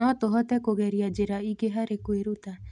No tũhote kũgeria njĩra ingĩ harĩ kwĩruta.